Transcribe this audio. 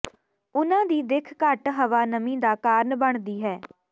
ਉਨ੍ਹਾਂ ਦੀ ਦਿੱਖ ਘੱਟ ਹਵਾ ਨਮੀ ਦਾ ਕਾਰਨ ਬਣਦੀ ਹੈ